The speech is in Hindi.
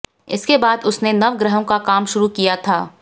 इसके बाद उसने नवग्रहों का काम शुरू किया था